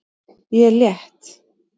Ég er létt.